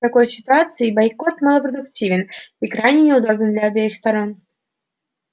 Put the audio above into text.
в такой ситуации бойкот малопродуктивен и крайне неудобен для обеих сторон